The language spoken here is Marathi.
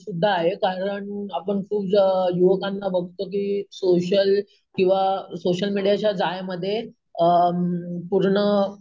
सुद्धा आहे कारण की आपण खूप लोकांना बघतो की सोशल किंवा सोशल मीडियाच्या जाळ्यामध्ये अम पूर्ण,